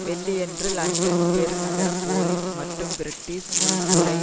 வெள்ளியன்று லண்டன் பெரு நகர போலிஸ் மற்றும் பிரிட்டிஷ் உளவு துறை